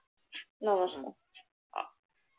নমস্কার।